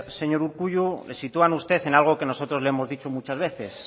señor urkullu le sitúan a usted en algo que nosotros le hemos dicho muchas veces